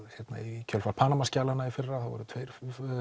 í kjölfar Panama skjalanna í fyrra tveir